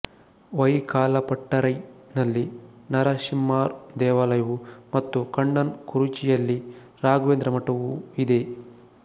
ವಯಿಕಾಲಪಟ್ಟರೈನಲ್ಲಿ ನರಶಿಮ್ಮಾರ್ ದೇವಾಲಯವು ಮತ್ತು ಕಣ್ಣನ್ ಕುರುಚಿಯಲ್ಲಿ ರಾಘವೇಂದ್ರ ಮಠವು ಇದೆ